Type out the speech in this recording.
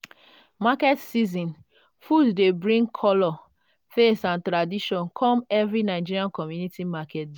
market season food dey bring colour taste and tradition come every nigerian community market day.